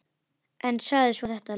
En sagði svo þetta, Lena.